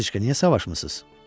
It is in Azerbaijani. Nyateçka, niyə savaşmısınız?